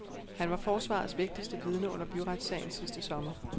Han var forsvarets vigtigste vidne under byretssagen sidste sommer.